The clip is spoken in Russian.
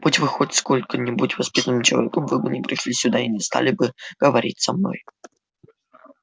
будь вы хоть сколько-нибудь воспитанным человеком вы бы не пришли сюда и не стали бы говорить со мной